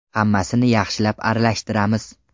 Hammasini yaxshilab aralashtiramiz.